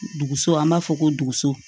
Duguso an b'a fɔ ko duguso